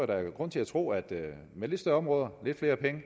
der er grund til at tro at med lidt større områder lidt flere penge